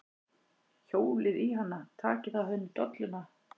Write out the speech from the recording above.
Hjólið í hana. takið af henni dolluna!